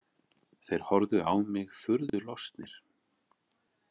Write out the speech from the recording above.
Þeir horfðu á mig furðu lostnir.